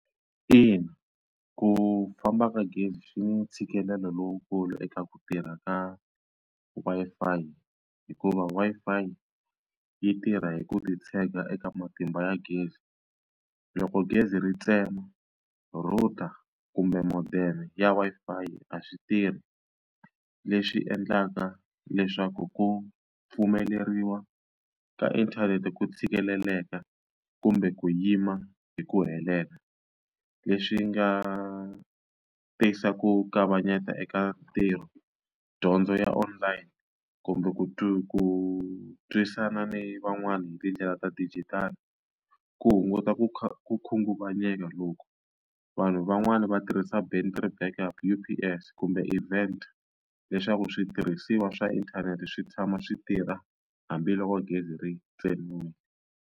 Ina, ku famba ka gezi swi ntshikelelo lowukulu eka ku tirha ka Wi-Fi hikuva Wi-Fi yi tirha hi ku titshega eka matimba ya gezi. Loko gezi ri tsemiwa router kumbe modem ya Wi-Fi a swi tirhi, leswi endlaka leswaku ku pfumeleriwa ka inthanete ku tshikeleleka kumbe ku yima hi ku helela. Leswi nga tisa ku kavanyeta eka ntirho, dyondzo ya online, kumbe ku ku twisisana ni van'wana hi tindlela ta dijitali. Ku hunguta ku ku khunguvanyeka loku vanhu van'wani va tirhisa battery backup U_P_S kumbe event leswaku switirhisiwa swa inthanete swi tshama swi tirha hambiloko gezi ri tsemiwa.